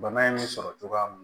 Bana in sɔrɔ cogoya mun